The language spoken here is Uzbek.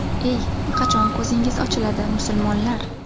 Ey, qachon ko‘zingiz ochiladi, musulmonlar?!